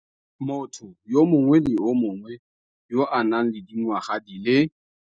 Motho yo mongwe le yo mongwe yo a nang le dingwaga di le.